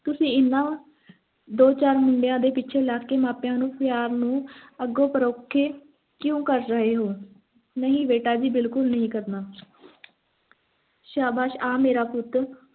ਤੁਸੀਂ ਏਨ੍ਹਾਂ ਦੋ ਚਾਰ ਮੁੰਡਿਆਂ ਦੇ ਪਿੱਛੇ ਲੱਗ ਕੇ ਮਾਂ-ਪਿਓ ਦੇ ਪਿਆਰ ਨੂੰ ਅੱਖੋਂ ਪਰੋਖੇ ਕਿਉਂ ਕਰ ਰਹੇ ਹੋ ਨਹੀਂ ਬੇਟਾ ਜੀ ਬਿਲਕੁਲ ਨਹੀਂ ਕਰਨਾ ਸ਼ਾਬਾਸ਼ ਆ ਮੇਰਾ ਪੁੱਤ